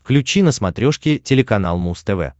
включи на смотрешке телеканал муз тв